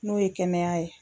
N'o ye kɛnɛya ye